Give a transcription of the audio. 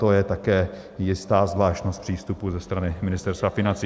To je také jistá zvláštnost přístupu ze strany Ministerstva financí.